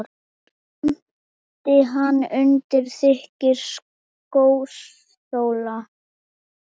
Kramdi hana undir þykkum skósóla.